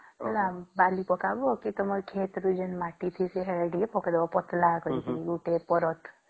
ହେଲା ତମେ ଵାଲୀ ପକାଵା ୟା ଖେତ ରୁ ଯେନ ମାଟି ନେକରି କି ପକେଇଦେବା ପତଳା କରିକି ଗୋଟେ ପାରଦ